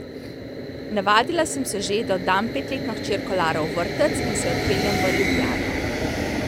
Navadila sem se že, da oddam petletno hčerko Laro v vrtec in se odpeljem v Ljubljano.